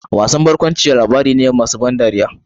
Wasan barkwanci labari ne masu ban dariya.